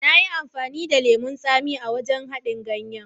Nayi amfani da lemon tsami a haɗin ganyen.